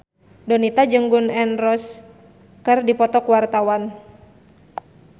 Donita jeung Gun N Roses keur dipoto ku wartawan